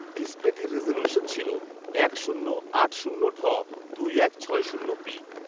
ডিসপ্লেটির resolution ছিল এক শূন্য আট শূন্য ঢ দুই এক ছয় শূন্য বি